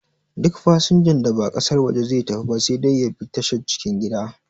Duk fasanjan da ba ƙasar waje zai tafi ba sai dai ya bi tashar cikin gida